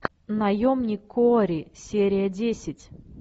наемник куорри серия десять